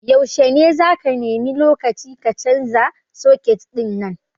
Yaushe ne zaka nemi lokaci ka canza suket ɗin nan?